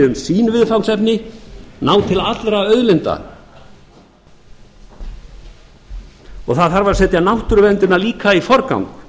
um sín viðfangsefni ná til allra auðlinda það þarf að setja náttúruverndina líka í forgang